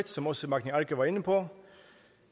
som også magni arge var inde på